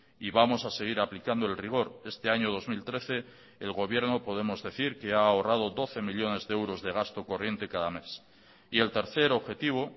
y vamos a seguir aplicando el rigor este año dos mil trece el gobierno podemos decir que ha ahorrado doce millónes de euros de gasto corriente cada mes y el tercer objetivo